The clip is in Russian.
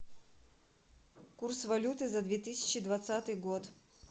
курс валюты за две тысячи двадцатый год